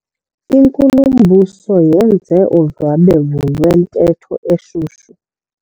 Inkulumbuso yenze udlwabevu lwentetho eshushu.